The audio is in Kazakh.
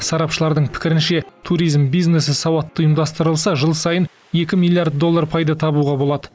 сарапшылардың пікірінше туризм бизнесі сауатты ұйымдастырылса жыл сайын екі миллиард доллар пайда табуға болады